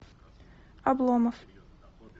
обломов